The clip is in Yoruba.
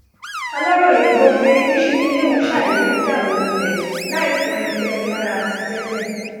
aláròye gbọ pé níṣe nilẹ ọhún ṣàdédé dà wó lulẹ láì fu ẹnikẹni lára ti tẹlẹ